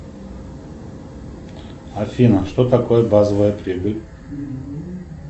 афина что такое базовая прибыль